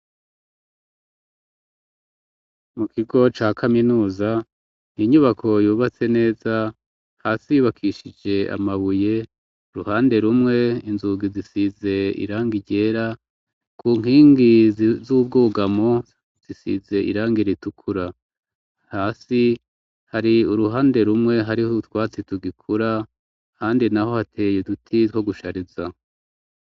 Mu kigo ca kaminuza, ni inyubako yubatse neza, hasi yubakishije amabuye, uruhande rumwe inzugi zisize irangi ryera, ku nkingi z'ubwugamo zisize irangi ritukura. Hasi hari uruhande rumwe hariho utwatsi tugikura ahandi naho hateye uduti two gushariza.